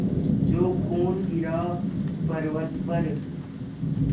जो खून गिरा पवर्अत पर